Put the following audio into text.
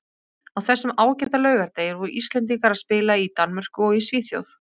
Á þessum ágæta laugardegi voru Íslendingar að spila í Danmörku og í Svíþjóð.